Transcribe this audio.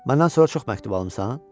Məndən sonra çox məktub almısan?